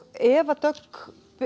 Eva Björk